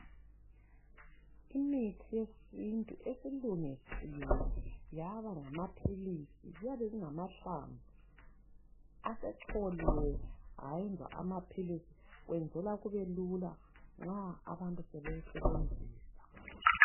Imithi yesintu esilungisiwe yaba ngamaphilizi kuyabe kungamahlamvu, asecholiwe ayenzwa amaphilizi, kwenzela kubelula nxa abantu sebewusebenzisa.